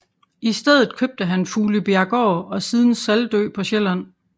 I stedet købte han Fuglebjerggård og siden Saltø på Sjælland